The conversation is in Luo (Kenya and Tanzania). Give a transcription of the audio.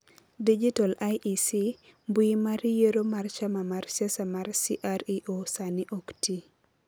#DigitalEC:mbui mar yiero mar chama mar siasa mar CREO sani ok ti.